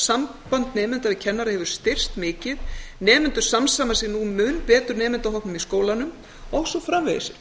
samband nemenda við kennara hefur styrkst mikið nemendur samsama sig nú mun betur nemendahópnum í skólanum og svo framvegis